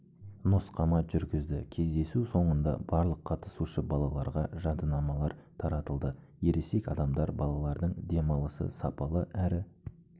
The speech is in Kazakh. нұсқама жүргізді кездесу соңында барлық қатысушы балаларға жадынамалар таратылды ересек адамдар балалардың демалысы сапалы әрі